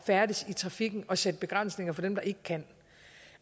færdes i trafikken og sætte begrænsninger for dem der ikke kan